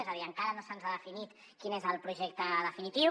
és a dir encara no se’ns ha definit quin és el projecte definitiu